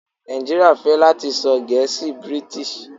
Naijiria fẹ lati sọ gẹ̀ẹ́sì British.